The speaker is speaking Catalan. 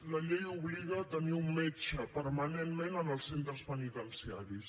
la llei obliga a tenir un metge permanentment en els centres penitenciaris